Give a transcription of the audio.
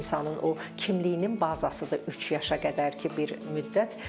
İnsanın o kimliyinin bazasıdır üç yaşa qədərki bir müddət.